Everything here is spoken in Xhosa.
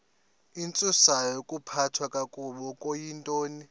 intsusayokuphathwa kakabi okuyintoni